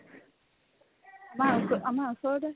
আমাৰ ওচৰ আমাৰ ওচৰতে